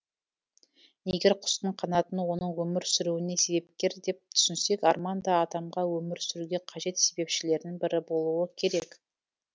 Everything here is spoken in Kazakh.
егер құстың қанатын оның өмір сүруіне себепкер деп түсінсек арман да адамға өмір сүруге қажет себепшілердің бірі болуы керек